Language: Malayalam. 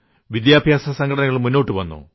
വിദ്യാഭ്യാസ സംഘടനകൾ മുന്നോട്ടു വന്നു